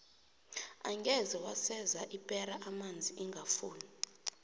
angeze waseza ipera amanzi ingafuni